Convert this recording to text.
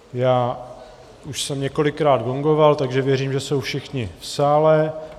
Já už jsem několikrát gongoval, takže věřím, že jsou všichni v sále.